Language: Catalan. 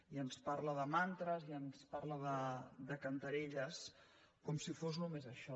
i ens parla de mantres i ens parla de cantarelles com si fos només això